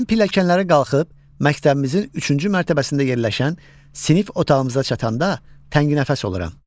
Mən pilləkənlərə qalxıb, məktəbimizin üçüncü mərtəbəsində yerləşən sinif otağımıza çatanda tənginəfəs oluram.